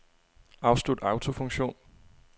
Afslut autofunktion.